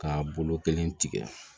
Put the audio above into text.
Ka bolo kelen tigɛ